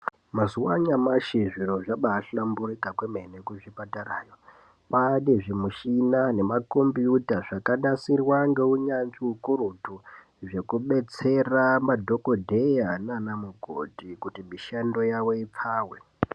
Mazuva anyamashi zviro zvabahlamburuka kwemene kuzvipatara kwane zvimushina nemakombiyuta zvakanasirwa neunyanzvi ukurutu zvekudetsera madhokoteya nana mukoti kuti mishando yavo ipfawe.